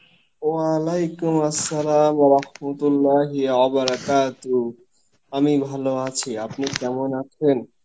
অলাইকুম আসসালাম, আমি ভালো আছি, আপনি কেমন আছেন?